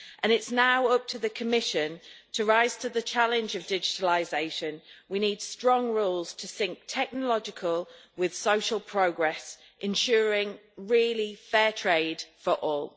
It is now up to the Commission to rise to the challenge of digitalisation. We need strong rules to synch technological with social progress, ensuring really fair trade for all.